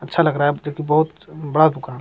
अच्छा लग रहा है जबकि बहुत बड़ा दुकान है |